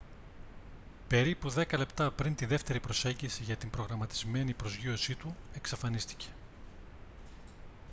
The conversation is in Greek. περίπου δέκα λεπτά πριν τη δεύτερη προσέγγιση για την προγραμματισμένη προσγείωσή του εξαφανίστηκε